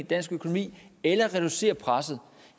dansk økonomi eller reduceret presset